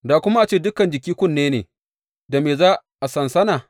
Da kuma a ce dukan jiki kunne ne, da me za a sansana?